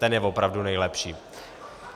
Ten je opravdu nejlepší.